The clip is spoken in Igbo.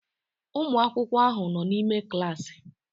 Ụmụ akwụkwọ ahụ nọ n'ime klaasị